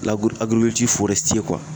Lagiri agirikiliciri forɛsitiye kuwa